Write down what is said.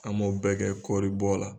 An m'o bɛɛ kɛ kɔribɔ la